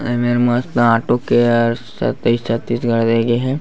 एमेर मस्त auto care सत्ताईस सत्ताईस करे गे हे।